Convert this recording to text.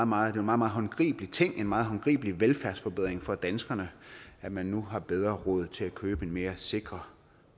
meget meget håndgribelig ting en meget håndgribelig velfærdsforbedring for danskerne at man nu har bedre råd til at købe en mere sikker